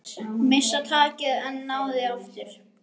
Missa takið en ná því aftur.